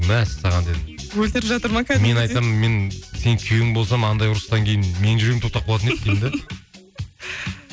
мәссаған дедім өлтіріп жатыр ма кәдімгідей мен айтсам мен сенің күйеуің болсам андай ұрыстан кейін менің жүрегім тоқтап қалатын еді деймін де